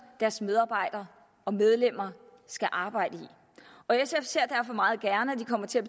deres medarbejdere og medlemmer skal arbejde i og sf ser derfor meget gerne at de kommer til at